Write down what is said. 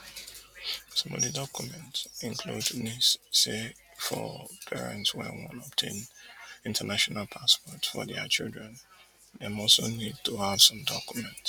some of di document include nis say for parents wey wan obtain international passports for dia children dem also need to have some documents